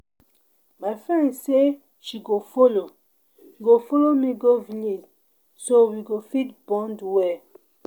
My friend say she go follow go follow me go village so we go fit bond well